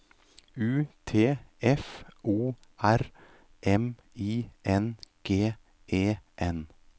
U T F O R M I N G E N